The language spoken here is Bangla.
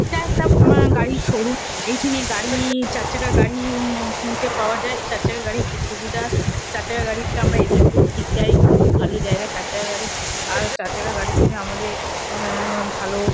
এটা একটা উম গাড়ির শোরুম এইখানে গাড়ি-ই-ই চার চাকা গাড়ি-ই-ই উম কিনতে পাওয়া যায়। চার চাকা গাড়ি খুব সুবিধার। চার চাকা গাড়িতে আমরা এদিক থেকে ওদিক যাই। ভালো জায়গা চার চাকা গাড়ি। আর চার চাকার গাড়ির জন্যে আমাদের অ্যা-আ ভালো।